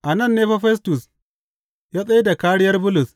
A nan ne fa Festus ya tsai da kāriyar Bulus.